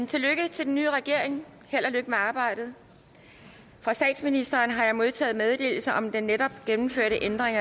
tillykke til den nye regering held og lykke med arbejdet fra statsministeren har jeg modtaget meddelelse om den netop gennemførte ændring